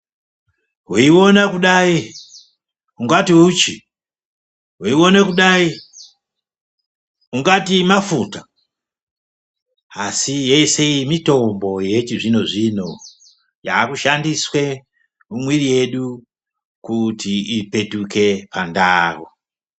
Weione kudai ungati uchi, weione kudai ungati mafuta, asi yese iyi mitombo yechizvino zvino yaakushandiswe mumwiri yedu kuti ipetuke pandau.